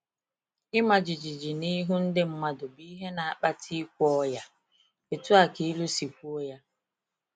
“Ịma jijiji n’ihu ndị mmadụ bụ ihe na-akpata ikwe ọya,” etu a ka ilu si kwuo ya.